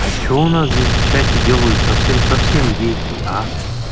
а что у нас здесь в чате делают совсем-совсем дети а